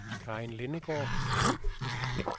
Karin Lindegaard